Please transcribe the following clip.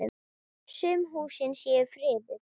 Sum húsin séu friðuð.